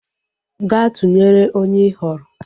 Gaa tụnyere onye ị họọrọ!